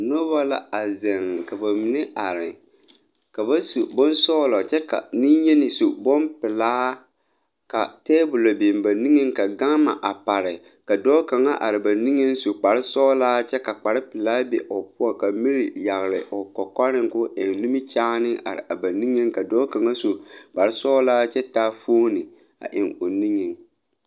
Nobɔ la a zeŋ ka ba mine are ka ba su bonsɔglɔ kyɛ ka neŋyeni su bonpelaa ka tabolɔ biŋ ba niŋeŋ ka gama a pare ka dɔɔ kaŋa are ba niŋeŋ su kparesɔglaa kyɛ ka kparepelaa be o poɔ ka miri are o kɔkɔreŋ koo eŋ nimikyaane are a ba niŋeŋ ka dɔɔ kaŋa su kparesɔglaa kyɛ taa foone a eŋ o nuŋ.